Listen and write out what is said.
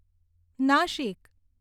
Nashik